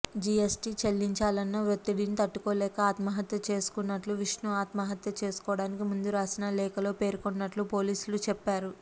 GST చెల్లించాలన్న వత్తిడిని తట్టుకోలేక ఆత్మహత్య చేసుకుంటున్నట్లు విష్ణు ఆత్మహత్య చేసుకోవడానికి ముందు రాసిన లేఖలో పేర్కొన్నట్లు పోలీసులు చెప్పారు